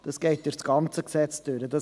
Dies geht durch das ganze Gesetz durch.